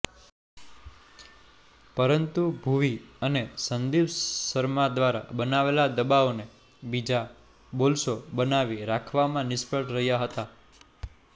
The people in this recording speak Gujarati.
પરંતુ ભુવી અને સંદીપ શર્મા દ્વારા બનાવેલા દબાવને બીજા બોલર્સો બનાવી રાખવામાં નિષ્ફળ રહ્યાં હતા